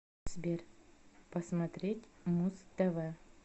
сбер посмотреть муз тв